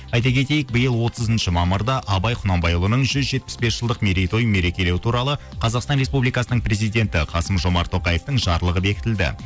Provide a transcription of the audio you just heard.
айта кетейік биыл отызыншы мамырда абай құнанбайұлының жүз жетпіс бес жылдық мерейтойын мерекелеу туралы қазақстан республикасының президенті қасым жомарт тоқаевтың жарлығы бекітілді